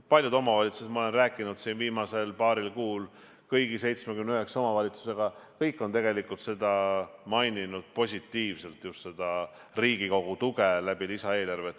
Paljud omavalitsused – ma olen rääkinud viimasel paaril kuul kõigi 79 omavalitsusega – on maininud positiivselt just seda Riigikogu tuge lisaeelarve kaudu.